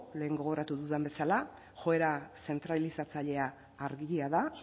lehen gogoratu dudan bezala joera zentralizatzailea argia da